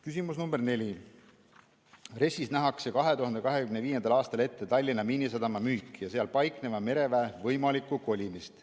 Küsimus nr 4: "RES‑is nähakse 2025. aastal ette Tallinna Miinisadama müük ja seal paikneva mereväe võimalik kolimine.